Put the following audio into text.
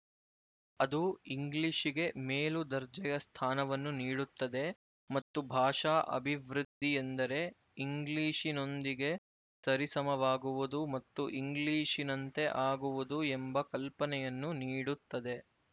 ಅದು ಇಂಗ್ಲಿಶಿಗೆ ಮೇಲು ದರ್ಜೆಯ ಸ್ಥಾನವನ್ನು ನೀಡುತ್ತದೆ ಮತ್ತು ಭಾಷಾ ಅಭಿವೃದ್ಧಿಯೆಂದರೆ ಇಂಗ್ಲಿಶಿನೊಂದಿಗೆ ಸರಿಸಮವಾಗುವುದು ಮತ್ತು ಇಂಗ್ಲಿಶಿನಂತೆ ಆಗುವುದು ಎಂಬ ಕಲ್ಪನೆಯನ್ನು ನೀಡುತ್ತದೆ